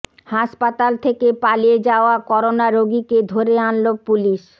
হাসপাতাল থেকে পালিয়ে যাওয়া করোনা রোগীকে ধরে আনল পুলিশ